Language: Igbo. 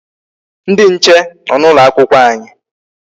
Ndị nche nọ n'ụlọ akwụkwọ anyị.